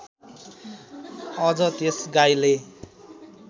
अझ त्यस गाईले